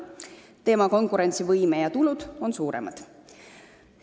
Tema konkurentsivõime ja tulud on suuremad.